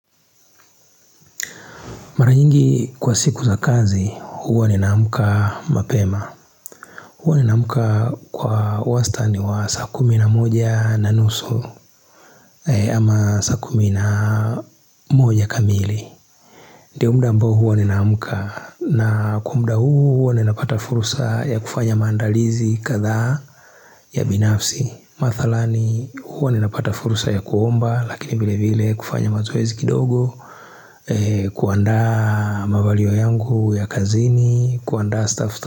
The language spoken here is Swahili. Mara nyingi kwa siku za kazi, huwa ni namuka mapema. Huwa ni namuka kwa wasta ni wa saa kumi na moja na nusu ama saa kumi na moja kamili. Ndio mda ambao huwa ni namuka na kwa mda huu huwa ni napata furusa ya kufanya maandalizi kadhaa ya binafsi. Mathalani huwa ninapata furusa ya kuomba lakini vile vile kufanya mazoezi kidogo kuandaa mavalio yangu ya kazini kuandaa staff.